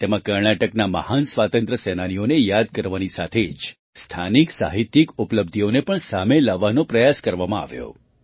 તેમાં કર્ણાટકના મહાન સ્વાતંત્ર્ય સેનાનીઓને યાદ કરવાની સાથે જ સ્થાનિક સાહિત્યિક ઉપલબ્ધિઓને પણ સામે લાવવાનો પ્રયાસ કરવામાં આવ્યો